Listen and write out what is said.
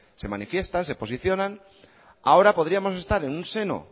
se manifiestan se posicionan ahora podríamos estar en un seno